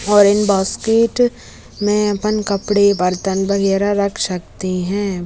और इन बास्केट में अपन कपड़े बर्तन वगेरा रख सकते हैं।